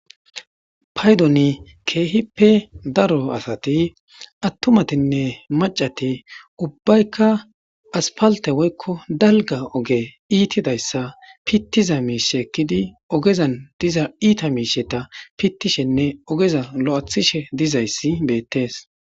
Paydoni keehippe daro asati attumatinne macati ubbaykka aspalte woykko dalga oge iitidayssa pittiza miishekkidi ogezan diza iita miisheta pittishenne ogeza lo'athishe dizayssi beettees.